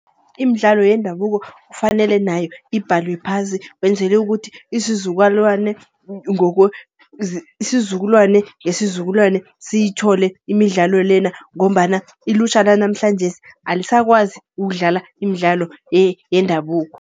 Imidlalo yendabuko kufanele nayo ibhalwe phasi. Kwenzelwe ukuthi isizukwalwane, isizukulwane ngesizukulwane siyithole imidlalo lena. Ngombana ilutjha lanamhlanjesi alisakwazi ukudlala imidlalo yendabuko.